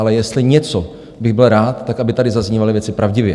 Ale jestli něco bych byl rád, tak aby tady zazněly věci pravdivě.